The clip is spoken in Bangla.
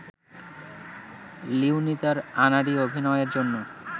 লিওনি তার আনাড়ি অভিনয়ের জন্য